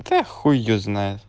да хуй её знает